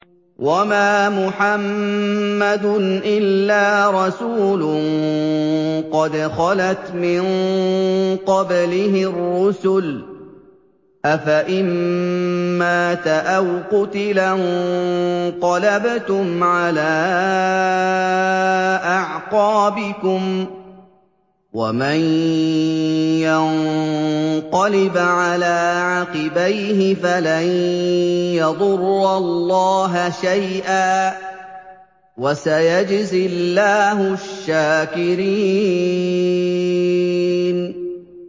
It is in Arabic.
وَمَا مُحَمَّدٌ إِلَّا رَسُولٌ قَدْ خَلَتْ مِن قَبْلِهِ الرُّسُلُ ۚ أَفَإِن مَّاتَ أَوْ قُتِلَ انقَلَبْتُمْ عَلَىٰ أَعْقَابِكُمْ ۚ وَمَن يَنقَلِبْ عَلَىٰ عَقِبَيْهِ فَلَن يَضُرَّ اللَّهَ شَيْئًا ۗ وَسَيَجْزِي اللَّهُ الشَّاكِرِينَ